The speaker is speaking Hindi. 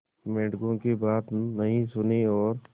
मेंढकों की बात नहीं सुनी और